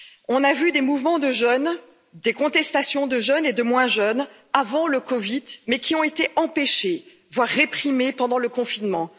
On a vu des mouvements de jeunes, des contestations de jeunes et de moins jeunes, avant le COVID, mais qui ont été empêchés, voire réprimés, pendant le confinement.